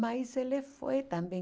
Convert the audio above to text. Mas ele foi também.